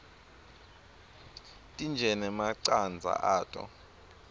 tintje nemacandza ato